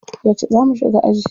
Yauce za mu shiga aji?